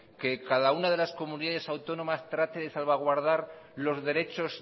que cada una de las comunidades autónomas trate de salvaguardar los derechos